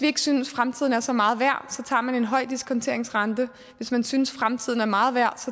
ikke synes at fremtiden er så meget værd tager man en høj diskonteringsrente hvis man synes at fremtiden er meget værd